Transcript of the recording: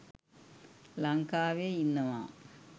ලංකාවෙ ඉන්නවා.